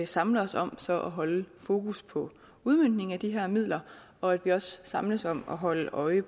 samler os om at holde fokus på udmøntningen af de her midler og at vi også samles om at holde øje